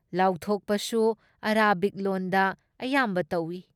ꯂꯥꯎꯊꯣꯛꯄꯁꯨ Arabic ꯂꯣꯟꯗ ꯑꯌꯥꯝꯕ ꯇꯧꯏ ꯫